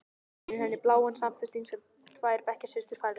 Sýnir henni bláan samfesting sem tvær bekkjarsystur færðu henni.